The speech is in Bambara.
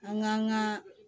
An k'an ka